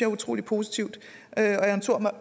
er utrolig positivt jeg